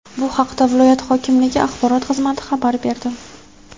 Bu haqda viloyat hokimligi axborot xizmati xabar berdi.